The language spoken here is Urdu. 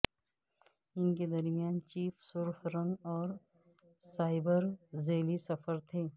ان کے درمیان چیف سرخ رنگ کے اور سائبر ذیلی صفر تھے